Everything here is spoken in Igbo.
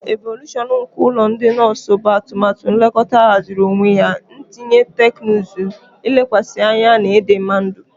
Evolushọn nke ụlọ ndị nọọsụ bụ atụmatụ nlekọta ahaziri onwe ya, ntinye teknụzụ, ilekwasị anya na ịdịmma ndụ.